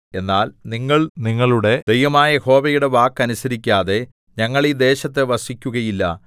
എന്നാൽ നിങ്ങൾ നിങ്ങളുടെ ദൈവമായ യഹോവയുടെ വാക്ക് അനുസരിക്കാതെ ഞങ്ങൾ ഈ ദേശത്തു വസിക്കുകയില്ല